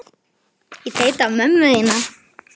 Þórunn gengst við því að hafa saumað allt þarna inni.